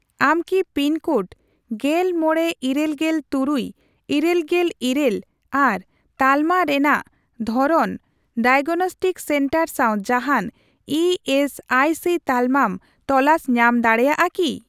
ᱟᱢ ᱠᱤ pin code ᱜᱮᱞ ᱢᱚᱲᱮ ᱤᱨᱟᱹᱞᱜᱮᱞ ᱛᱩᱨᱩᱭ ,ᱤᱨᱟᱹᱞᱜᱮᱞ ᱤᱨᱟᱹᱞ ᱟᱨ ᱛᱟᱞᱢᱟ ᱨᱮᱱᱟᱜ ᱫᱷᱚᱨᱚᱱ ᱰᱟᱭᱟᱜᱱᱚᱥᱴᱤᱠ ᱥᱮᱱᱴᱟᱨ ᱥᱟᱣ ᱡᱟᱦᱟᱱ ᱤ ᱮᱥ ᱟᱭ ᱥᱤ ᱛᱟᱞᱢᱟᱢ ᱛᱚᱞᱟᱥ ᱧᱟᱢ ᱫᱟᱲᱮᱭᱟᱜᱼᱟ ᱠᱤ ?